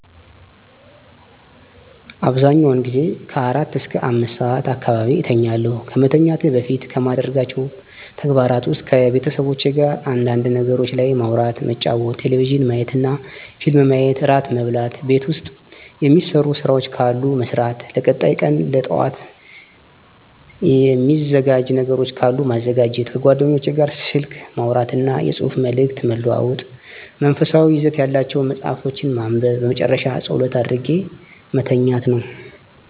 አብዛኛውን ጊዜ ከአራት እስከ አምስት ሰዓት አካባቢ እተኛለሁ። ከመተኛቴ በፊት ከማደርጋቸው ተግባራት ውስጥ ከቤተሰቦቼ ጋር አንዳንድ ነገሮች ላይ ማውራት መጫወት ቴሌቪዥን ማየትና ፊልም ማየት እራት መብላት ቤት ውስጥ የሚሰሩ ስራዎች ካሉ መስራት ለቀጣይ ቀን ለጠዋት የሚዘጋጅ ነገሮች ካሉ ማዘጋጀት ከጓደኞቼ ጋር ስልክ ማውራትና የፅሁፍ መልዕክት መለዋወጥ መንፈሳዊ ይዘት ያላቸውን መፃሀፍቶችን ማንበብ በመጨረሻ ፀሎት አድርጌ መተኛት ነው።